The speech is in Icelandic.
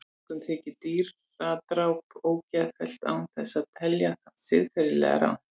Mörgum þykir dýradráp ógeðfellt án þess að telja það siðferðilega rangt.